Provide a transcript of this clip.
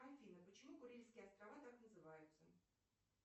афина почему курильские острова так называются